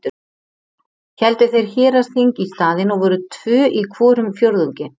Héldu þeir héraðsþing í staðinn og voru tvö í hvorum fjórðungi.